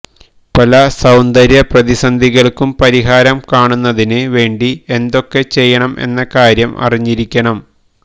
പല സൌന്ദര്യ പ്രതിസന്ധികൾക്ക് പരിഹാരം കാണുന്നതിന് വേണ്ടി എന്തൊക്കെ ചെയ്യണം എന്ന കാര്യം അറിഞ്ഞിരിക്കണം